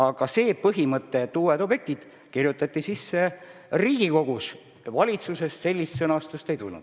Aga see põhimõte, et olgu uued objektid ka, kirjutati sisse Riigikogus, valitsusest seda ei tulnud.